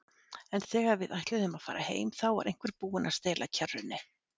En þegar við ætluðum að fara heim, þá var einhver búinn að stela kerrunni.